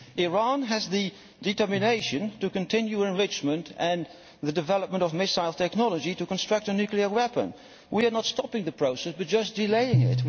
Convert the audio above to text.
Iran is determined to continue enrichment and the development of missile technology to construct a nuclear weapon. We are not stopping the process, but just delaying it.